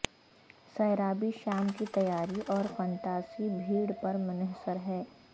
سیرابی شام کی تیاری اور فنتاسی بھیڑ پر منحصر ہے